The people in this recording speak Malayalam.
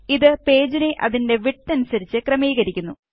ഇത് പേജിനെ അതിന്റെ വിഡ്ത് അനുസരിച്ച് ക്രമീകരിക്കുന്നു